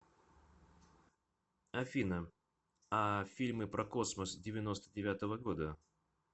афина а фильмы про космос девяносто девятого года